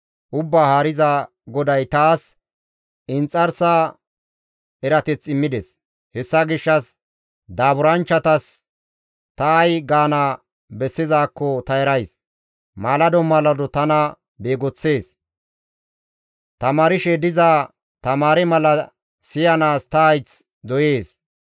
Ubbaa Haariza GODAY taas inxarsa erateth immides; hessa gishshas daaburanchchatas ta ay gaana bessizaakko ta erays; maalado maalado tana beegoththees; tamaarshe diza tamaare mala siyanaas ta hayth doyees.